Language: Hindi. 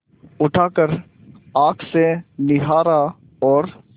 उठाकर आँख से निहारा और